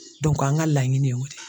an ŋa laɲini o de ye.